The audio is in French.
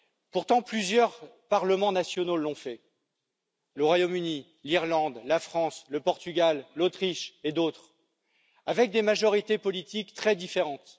Pourtant, plusieurs parlements nationaux l'ont fait le Royaume Uni, l'Irlande, la France, le Portugal, l'Autriche et d'autres, avec des majorités politiques très différentes.